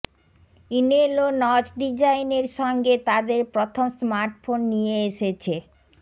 ইনেলো notch ডিজাইনের সঙ্গে তাদের প্রথম স্মার্টফোন নিয়ে এসেছে